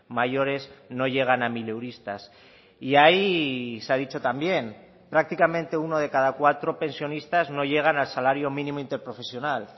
mayores no llegan a mileuristas y ahí se ha dicho también prácticamente uno de cada cuatro pensionistas no llegan al salario mínimo interprofesional